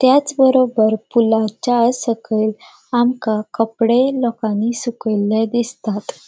तेच बरोबर पुलाच्या सकयल आमका कपड़े लोकानी सुकयल्ले दिसतात.